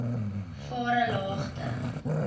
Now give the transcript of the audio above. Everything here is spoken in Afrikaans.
varelagte